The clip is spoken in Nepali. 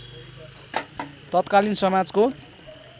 तत्कालीन समाजको